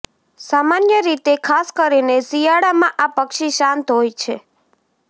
સામાન્ય રીતે ખાસ કરીને શિયાળામાં આ પક્ષી શાંત હોય છે